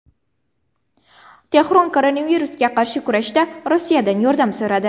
Tehron koronavirusga qarshi kurashda Rossiyadan yordam so‘radi.